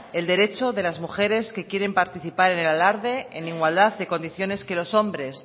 el derecho de la mujeres que quieren participar en el alarde en igualdad de condiciones que los hombres